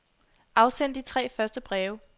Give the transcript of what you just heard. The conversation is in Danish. Afsend de tre første breve.